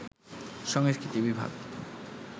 সংস্কৃতি বিভাগ